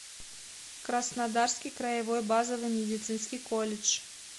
краснодарский краевой базовый медицинский колледж